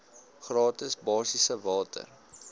gratis basiese water